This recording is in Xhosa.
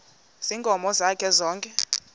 ziinkomo zakhe zonke